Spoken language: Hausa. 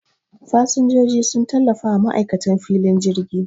Fasinjiji sun tallafawa ma'aikatan filin jirgi